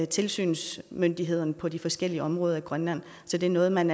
tilsynsmyndigheden på de forskellige områder i grønland så det er noget man